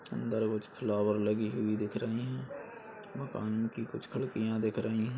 अंदर कुछ फ्लावर लगी हुई दिख रहे है मकान की कुछ खड़कियाँ दिख रही हैं ।